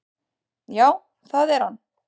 """Já, það er hann."""